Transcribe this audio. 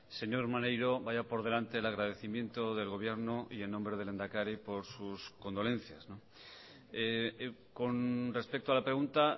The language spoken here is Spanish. señor maneiro vaya por delante el agradecimiento del gobierno y en nombre del lehendakari por sus condolencias con respecto a la pregunta